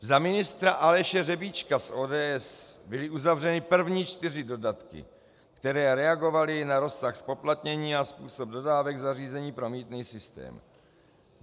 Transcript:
Za ministra Aleše Řebíčka z ODS byly uzavřeny první čtyři dodatky, které reagovaly na rozsah zpoplatnění a způsob dodávek zařízení pro mýtný systém.